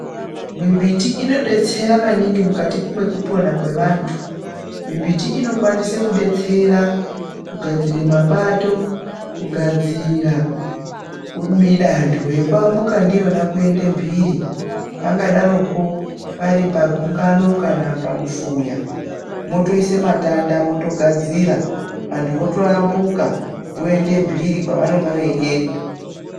Mimbiti inodetsera maningi mukati mekupona kwevantu. Mimbiti inokwanise kudetsera kugadzira mapato, kugadzira midanho yekuambuka ndiyona kuende mhiri. Pangadaroko pari pagungano kana pamufuya mwotoise matanda mwotogadzira vantu votoambuka voende mhiri kwavanonge veienda.